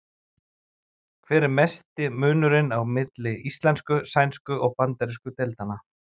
Hver er mesti munurinn á milli íslensku-, sænsku- og bandarísku deildanna?